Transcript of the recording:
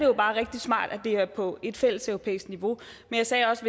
jo bare rigtig smart at det er på et fælleseuropæisk niveau men jeg sagde også